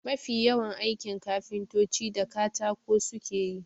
Mafi yawan aikin kafintoci da katako suke yi.